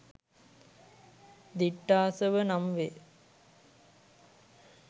දිට්ඨාසව නම් වේ.